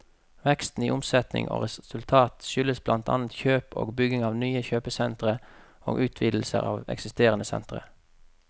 Veksten i omsetning og resultat skyldes blant annet kjøp og bygging av nye kjøpesentre og utvidelser av eksisterende sentre.